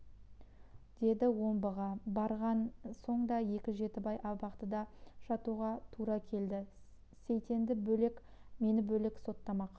деді омбыға барған соң да екі жетідей абақтыда жатуға тура келді сейтенді бөлек мені бөлек соттамақ